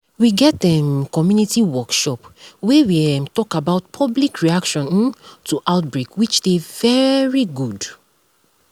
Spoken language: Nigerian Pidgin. we get um community workshop wey we um talk about public reaction um to outbreak which dey very good